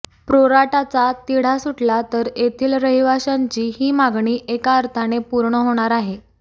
प्रोराटाचा तिढा सुटला तर येथील रहिवाशांची ही मागणी एका अर्थाने पूर्ण होणार आहे